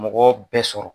Mɔgɔ bɛɛ sɔrɔ